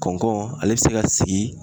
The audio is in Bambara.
Kɔnkɔ ale be se ka sigi